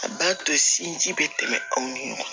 A b'a to sinji bɛ tɛmɛ aw ni ɲɔgɔn cɛ